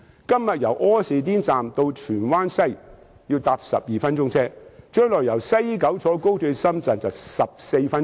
今天由柯士甸站到荃灣西站需要12分鐘，但是，將來由西九高鐵站到深圳則只需14分鐘。